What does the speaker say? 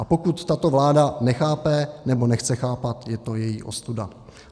A pokud tato vláda nechápe, nebo nechce chápat, je to její ostuda.